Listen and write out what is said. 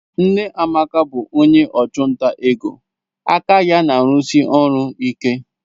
Nne Amaka bụ onye ọchụnta ego aka ya na-arụsi ọrụ ike.